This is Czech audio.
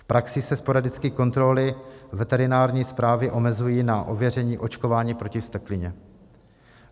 V praxi se sporadicky kontroly veterinární správy omezují na ověření očkování proti vzteklině.